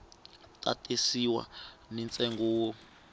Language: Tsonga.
ta tisiwa ni ntsengo wo